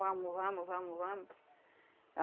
Vamos, vamos, vamos, vamos.